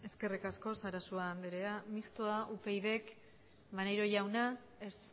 eskerrik asko sarasua andrea mistoa upydk maneiro jauna ez